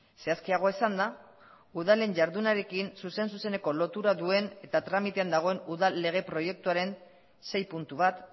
zehazkiago esanda udalen jardunarekin zuzen zuzeneko lotura duen eta tramitean dagoen udal lege proiektuaren sei puntu bat